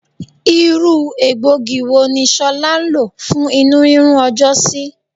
Irú egbògi wo ni ṣolá lo fún inurinrun ọjọ́ sí?